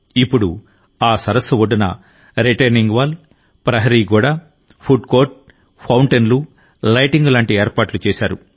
ఇప్పుడు ఆ సరస్సు ఒడ్డున రిటైనింగ్ వాల్ ప్రహరీ గోడ ఫుడ్ కోర్ట్ ఫౌంటెన్లు లైటింగ్ లాంటి ఏర్పాట్లు చేశారు